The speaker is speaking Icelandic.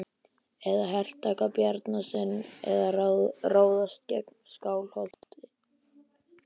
Að hertaka Bjarnanes er að ráðast gegn Skálholti.